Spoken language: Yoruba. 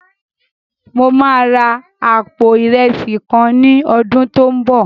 Mo máa ra àpò ìrẹsì kan ní ọdún tó n bọ̀